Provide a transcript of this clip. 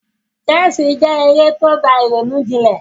Chess je eré to gba ìrònú jinlẹ̀